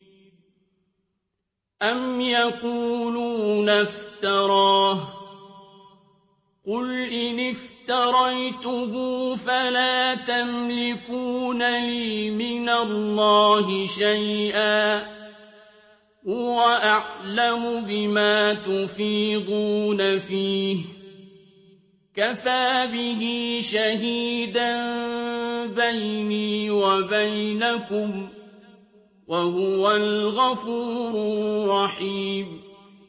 أَمْ يَقُولُونَ افْتَرَاهُ ۖ قُلْ إِنِ افْتَرَيْتُهُ فَلَا تَمْلِكُونَ لِي مِنَ اللَّهِ شَيْئًا ۖ هُوَ أَعْلَمُ بِمَا تُفِيضُونَ فِيهِ ۖ كَفَىٰ بِهِ شَهِيدًا بَيْنِي وَبَيْنَكُمْ ۖ وَهُوَ الْغَفُورُ الرَّحِيمُ